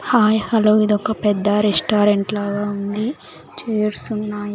Hi hello ఇదొక పెద్ద restaurant లాగా ఉంది చైర్స్ ఉన్నాయ్.